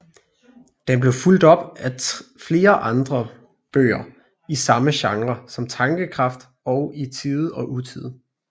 Den blev fulgt op af flere bøger i samme genre som Tankekraft og I Tide og Utide